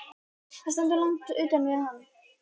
Hann stendur langt utan við hann.